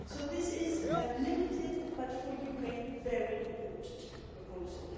So this is a limited, but for Ukraine a very important, proposal.